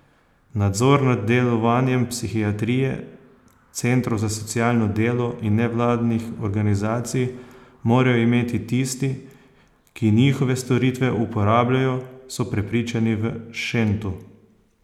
Nadzor nad delovanjem psihiatrije, centrov za socialno delo in nevladnih organizacij morajo imeti tisti, ki njihove storitve uporabljajo, so prepričani v Šentu.